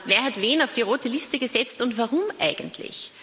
Wer hat wen auf die rote Liste gesetzt und warum eigentlich?